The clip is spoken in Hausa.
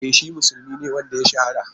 E shi musulmi ne wanda ya shahara.